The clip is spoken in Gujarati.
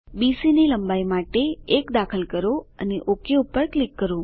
બીસી ની લંબાઈ માટે 1 દાખલ કરો અને ઓક ક્લિક કરો